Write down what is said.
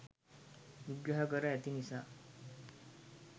විග්‍රහ කර ඇති නිසා